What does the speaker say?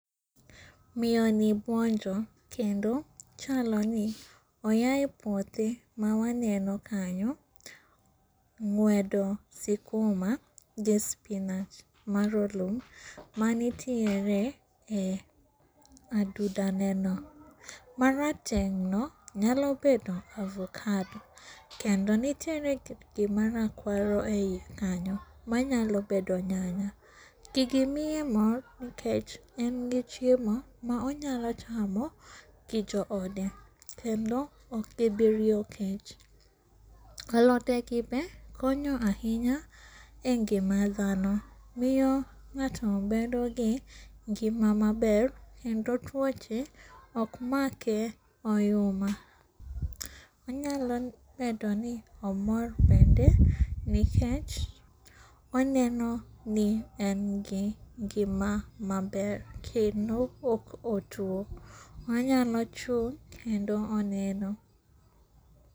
Miyoni buonjo kendo chaloni oyae puothe mawaneno kanyo ng'wedo sikuma gi spinach marolum manitiere e aduda neno. Marateng'no nyalo bedo avocado, kendo nitiere gima rakuaro ei kanyo manyalo bedo nyanya. Gigi miye mor nikech en gi chiemo maonyalo chamo gi joode, kendo okgibiriyo kech. Alote gi be konyo ahinya e ngima dhano, miyo ng'ato bedogi ngima maber kendo tuoche okmake oyuma. Onyalo bedoni omor bende nikech onenoni en gi ngima maber kendo ok otuo, onyalo chung' kendo oneno.